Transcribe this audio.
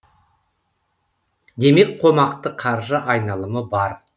демек қомақты қаржы айналымы бар